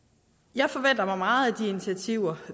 jeg forventer mig meget af de initiativer